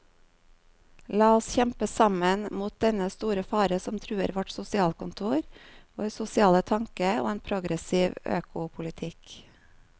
La oss kjempe sammen mot dennne store fare som truer vårt sosialkontor, vår sosiale tanke og en progressiv økopolitikk.